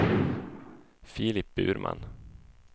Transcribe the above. Filip Burman